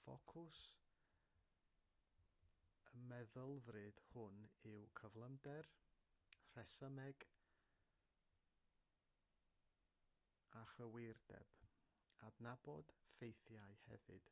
ffocws y meddylfryd hwn yw cyflymder rhesymeg a chywirdeb adnabod ffeithiau hefyd